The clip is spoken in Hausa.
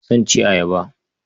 Zan ci ayaba.